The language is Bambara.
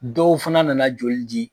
Dɔw fana nana joli di.